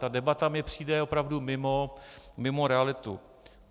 Ta debata mi přijde opravdu mimo realitu.